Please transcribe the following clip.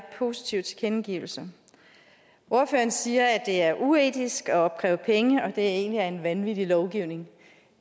positive tilkendegivelser ordføreren siger at det er uetisk at opkræve penge og at det egentlig er en vanvittig lovgivning